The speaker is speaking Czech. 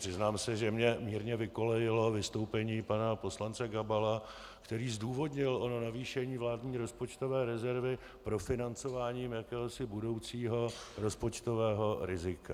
Přiznám se, že mě mírně vykolejilo vystoupení pana poslance Gabala, který zdůvodnil ono navýšení vládní rozpočtové rezervy profinancováním jakéhosi budoucího rozpočtového rizika.